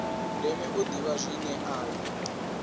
ndeme u ḓivha zwine ayo